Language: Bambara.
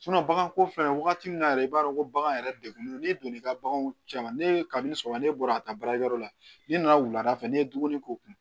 bagan ko filɛ wagati min na yɛrɛ i b'a dɔn ko bagan yɛrɛ degunnen n'i donna i ka baganw cɛ ma ne kabini sɔgɔma ne bɔra ka taa baarakɛyɔrɔ la n'i nana wulada fɛ n'i ye dumuni k'u kun